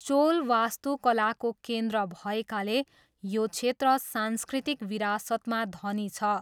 चोल वास्तुकलाको केन्द्र भएकाले यो क्षेत्र सांस्कृतिक विरासतमा धनी छ।